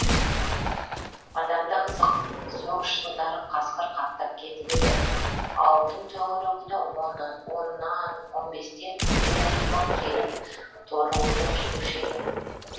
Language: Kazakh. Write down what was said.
адам да қызық соғыс жылдары қасқыр қаптап кетіп еді ауылдың төңірегіне оннан он бестен үйір үйір боп келіп торуылдап жүруші еді